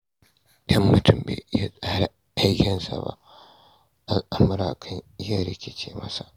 Idan mutum bai iya tsara aikinsa ba, al'amura kan iya rikice masa.